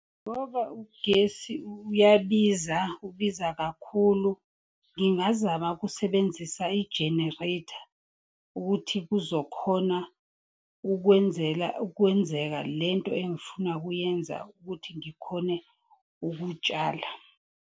Ngoba ugesi uyabiza, ubiza kakhulu. Ngingazama kusebenzisa i-generator ukuthi kuzokhona ukwenzeka lento engifuna kuyenza ukuthi ngikhone ukutshala.